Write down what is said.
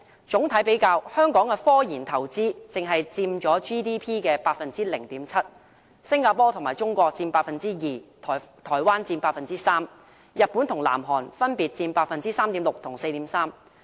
整體比較，香港的科研投資只佔 GDP 的 0.7%， 新加坡和中國佔 2%， 台灣佔 3%， 日本和南韓分別佔 3.6% 和 4.3%。